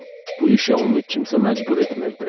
Bu işə onu kimsə məcbur etmirdi.